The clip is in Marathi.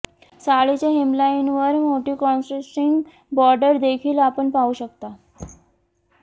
साडीच्या हेमलाइनवर मोठी कॉन्ट्रास्टिंग बॉर्डर देखील आपण पाहू शकता